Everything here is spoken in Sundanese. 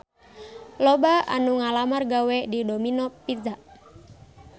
Loba anu ngalamar gawe ka Domino Pizza